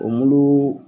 O mulu